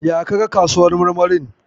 Ya ka ga kasuwar kayan marmarin?